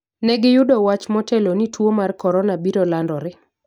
Negi yudo wach motelo ni tuwo mar Korona biro landore